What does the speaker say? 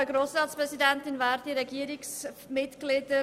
Rückkommen auf den Themenblock 6.d, Behindertenbereich.